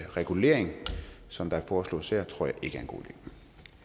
regulering som der foreslås her tror jeg ikke